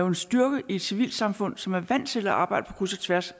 en styrke i et civilsamfund som er vant til at arbejde på kryds og tværs